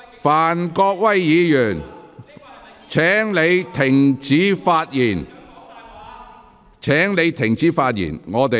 范國威議員，請停止發言。